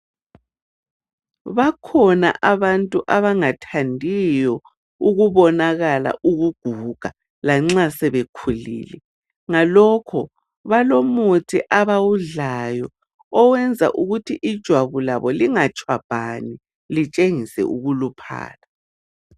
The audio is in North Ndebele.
Bakhona abantu abangathandiyo ukubonakala ukuguga lanxa sebekhulile. Ngalokho balomuthi abawudlayo owenza ukuthi ijwabu labo lingatshwabhani litshengise ukuluphala.